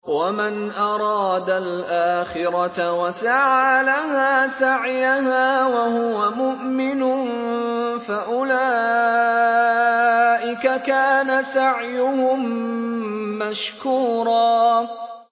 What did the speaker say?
وَمَنْ أَرَادَ الْآخِرَةَ وَسَعَىٰ لَهَا سَعْيَهَا وَهُوَ مُؤْمِنٌ فَأُولَٰئِكَ كَانَ سَعْيُهُم مَّشْكُورًا